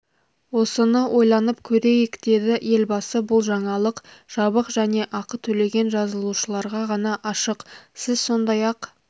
осыны ойланып көрейік деді елбасы бұл жаңалық жабық және ақы төлеген жазылушыларға ғана ашық сіз сондай-ақ